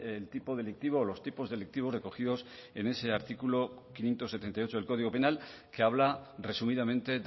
el tipo delictivo o los tipos delictivos recogidos en ese artículo quinientos setenta y ocho del código penal que habla resumidamente